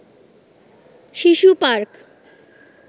শিশু পার্ক